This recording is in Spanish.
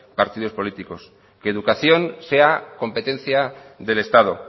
partidos políticos que educación sea competencia del estado